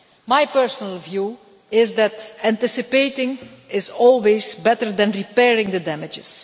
My personal view is that anticipating is always better than repairing the damage.